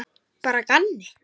Bara að gamni.